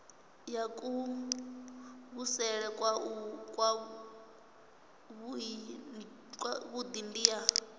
ya kuvhusele kwavhui ndi ya